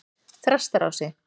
Þrastarási